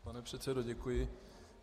Pane předsedo, děkuji.